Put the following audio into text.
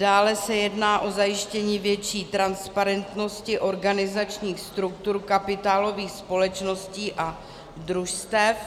Dále se jedná o zajištění větší transparentnosti organizačních struktur kapitálových společností a družstev.